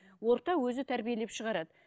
орта өзі тәрбиелеп шығарады